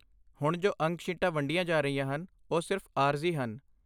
ਹੁਣ ਜੋ ਅੰਕ ਸ਼ੀਟਾਂ ਵੰਡੀਆਂ ਜਾ ਰਹੀਆਂ ਹਨ, ਉਹ ਸਿਰਫ਼ ਆਰਜ਼ੀ ਹਨ।